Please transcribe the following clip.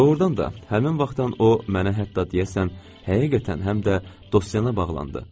Doğurdan da həmin vaxtdan o mənə hətta deyəsən həqiqətən həm də dostyana bağlandı.